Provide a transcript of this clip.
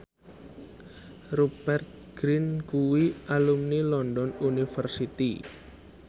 Rupert Grin kuwi alumni London University